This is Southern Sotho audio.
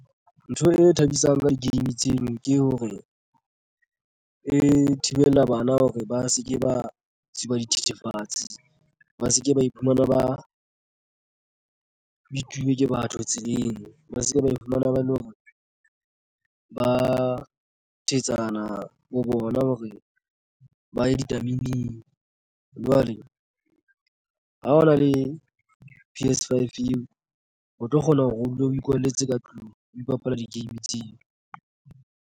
Ntho e thabisang ka di-game tseno ke hore e thibela bana hore ba se ke ba tsuba dithethefatsi ba se ke ba iphumana ba bitsuwe ke batho tseleng ba se ke ba iphumana ba hore ba thetsana ho bona hore ba ye ditameneng. Jwale ha o na le P_S Five eo o tlo kgona hore o dula o ikwalletse ka tlung o bapala di-game tseo.